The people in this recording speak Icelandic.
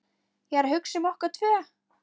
Ég er að hugsa um okkur tvö.